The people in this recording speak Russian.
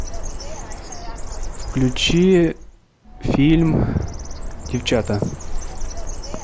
включи фильм девчата